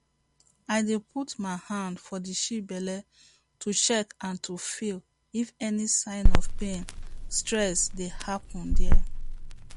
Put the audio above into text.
i dey put my hand for the sheep belle to check and to feel if any sign of pain stress dey happen there